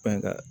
Fɛn ka